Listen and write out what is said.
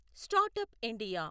start up India